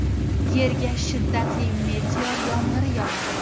Yerga shiddatli meteor yomg‘iri yog‘adi.